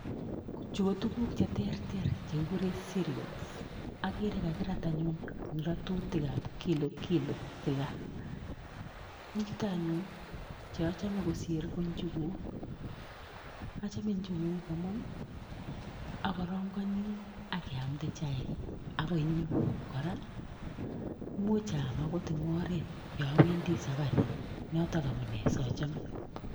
Kochuu ko tuguk cheterter chekikureen cerials akere kakirat koterchiin achamee missing amun tugun cheuu njuguuk amuchii andee maah akayooooo akapeel kosaiyaaa akaamatee eng oret angot